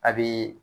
A bi